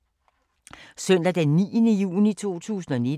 Søndag d. 9. juni 2019